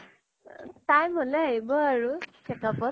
time হʼলে আহিব আৰু checkup ত